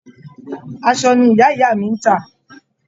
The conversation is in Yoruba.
Aṣọ ni ìyá ìyá mi ń tà.